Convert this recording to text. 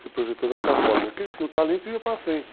se projetou dessa forma, é que ele tinha o talento e ia para frente.